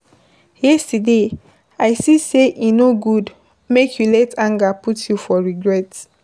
Yesterday, I see sey e no good make you let anger put you for regret.